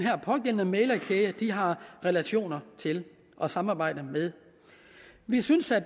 pågældende mæglerkæde har relationer til og samarbejde med vi synes at